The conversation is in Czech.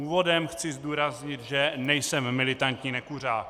Úvodem chci zdůraznit, že nejsem militantní nekuřák.